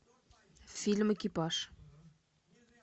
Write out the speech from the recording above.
фильм экипаж